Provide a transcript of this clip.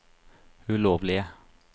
ulovlige